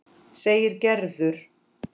segir Gerður.